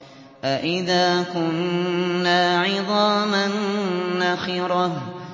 أَإِذَا كُنَّا عِظَامًا نَّخِرَةً